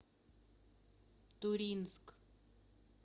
туринск